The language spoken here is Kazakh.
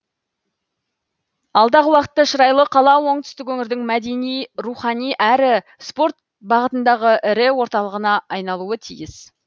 алдағы уақытта шырайлы қала оңтүстік өңірдің мәдени рухани әрі спорт бағытындағы ірі орталығына айналуы тиіс